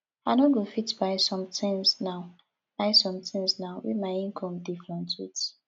i no go fit buy sometins now buy sometins now wey my income dey fluctuate